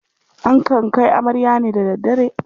Akan kai amarya ne da daddare.